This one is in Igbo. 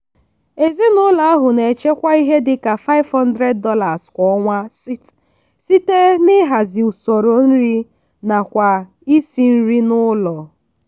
ezinụlọ ahụ na-echekwa ihe dị ka $500 kwa ọnwa site n'ịhazi usoro nri ha nakwa isi nri n'ụlọ.